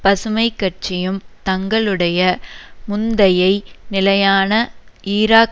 பசுமை கட்சியும் தங்களுடைய முந்தயை நிலையான ஈராக்